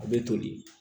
A bɛ toli